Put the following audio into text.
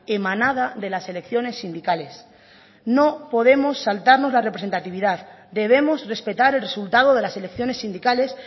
emanada de las elecciones sindicales no podemos saltarnos la representatividad debemos respetar el resultado de las elecciones sindicales